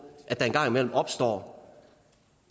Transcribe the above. at der engang imellem opstår